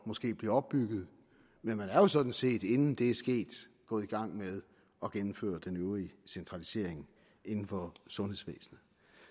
måske bliver opbygget men man er jo sådan set inden det er sket gået i gang med at indføre den øvrige centralisering inden for sundhedsvæsenet